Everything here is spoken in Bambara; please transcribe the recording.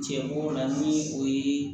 Cɛ b'o la ni o ye